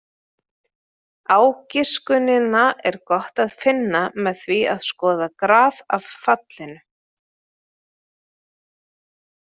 Ágiskunina er gott að finna með því að skoða graf af fallinu.